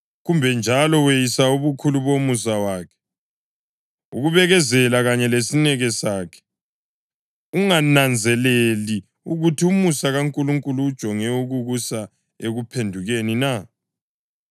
Kumbe njalo weyisa ubukhulu bomusa wakhe, ukubekezela kanye lesineke sakhe, ungananzeleli ukuthi umusa kaNkulunkulu ujonge ukukusa ekuphendukeni na?